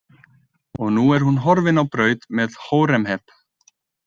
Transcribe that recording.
Og nú er hún horfin á braut með Hóremheb.